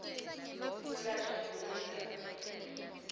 kwelashwa nekubuyisela similo